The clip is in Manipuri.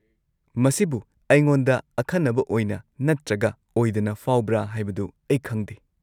-ꯃꯁꯤꯕꯨ ꯑꯩꯉꯣꯟꯗ ꯑꯈꯟꯅꯕ ꯑꯣꯏꯅ ꯅꯠꯇ꯭ꯔꯒ ꯑꯣꯏꯗꯅ ꯐꯥꯎꯕ꯭ꯔꯥ ꯍꯥꯏꯕꯗꯨ ꯑꯩ ꯈꯪꯗꯦ ꯫